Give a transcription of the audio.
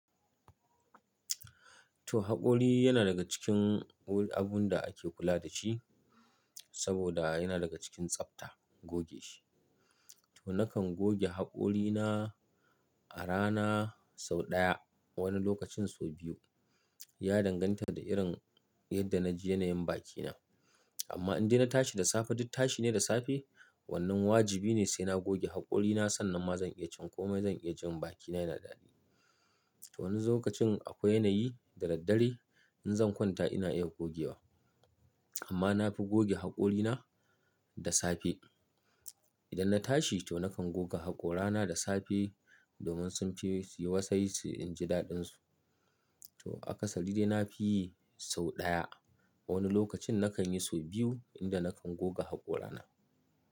To haƙori yana daga cikin abun da ake kula da shi saboda yana daga cikin tsafta goge shi. To nakan goge haƙorina a rana sau ɗaya, wani lokacin sau biyu. Ya danganta da irin yadda na ji yanayin bakina. Amma in dai na tashi da safe, duk tashi ne da safe, wannan wajibi ne sai na goge haƙorina sannan ma zan iya cin komai, zan iya jin bakina yana daɗi. To wani lokacin akwai yanayi da daddare in zan kwanta ina iya gogewa amma na fi goge haƙorina da safe. Idan na tashi to nakan goga haƙorana da safe domin sunce suyi wasai su in ji daɗinsu. To akasari dai nafi yi sau ɗaya. Wani lokacin nakan yi sau biyu inda nakan goga haƙorana.